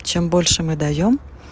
чем больше мы даём